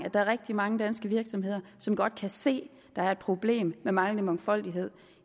at der er rigtig mange danske virksomheder som godt kan se at der er et problem med manglende mangfoldighed